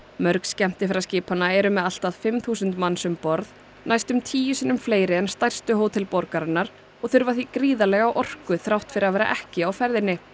mörg skemmtiferðaskipanna eru með allt að fimm þúsund manns um borð næstum tíu sinnum fleiri en stærstu hótel borgarinnar og þurfa því gríðarlega orku þrátt fyrir að vera ekki á ferðinni